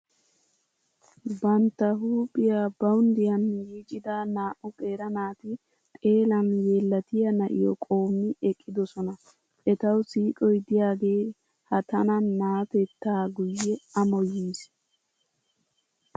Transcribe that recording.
Bantta huuphiya bawunddiyan yiicida naa"u qeera naati xeelan yeellatiya na’iyo qoommi eqqidosona. Etawu siiqoy diyagee ha tana naatettaa guyye amoyiis.